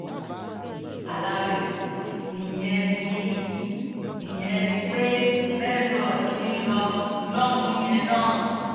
aláròye ìyẹn ni ìyẹn ni pé network ń lọ lọ́hùn-ún yẹn náà